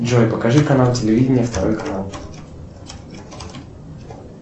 джой покажи канал телевидения второй канал